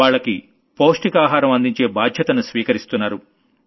వాళ్లకి పౌష్టిక ఆహారం అందించే బాధ్యతను స్వీకరిస్తున్నారు